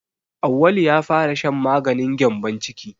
Auwalu ya fara shan maganin gyambon ciki.